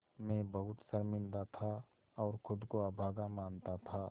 मैं बहुत शर्मिंदा था और ख़ुद को अभागा मानता था